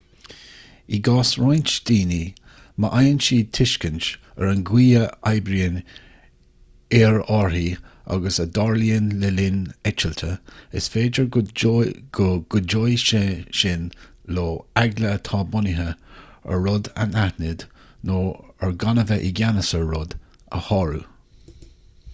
i gcás roinnt daoine má fhaigheann siad tuiscint ar an gcaoi a n-oibríonn aerárthaí agus a dtarlaíonn le linn eitilte is féidir go gcuideoidh sé sin leo eagla atá bunaithe ar an rud anaithnid nó ar gan a bheith i gceannas ar rud a shárú